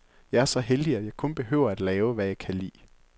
Jeg er så heldig, at jeg kun behøver at lave, hvad jeg kan lide.